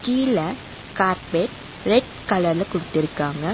கீழ carpet red கலர்ல குடுத்திருக்காங்க.